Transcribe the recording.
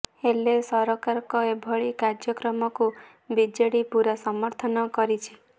ହେଲେ ସରକାରଙ୍କ ଏଭଳି କାର୍ଯ୍ୟକ୍ରମକୁ ବିଜେଡି ପୁରା ସମର୍ଥନ କରିଛି